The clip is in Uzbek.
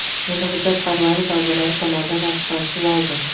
Endi hujjat parlament a’zolari tomonidan tasdiqlanishi lozim.